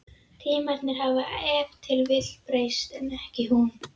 Tímarnir hafa ef til vill breyst, en ekki hún.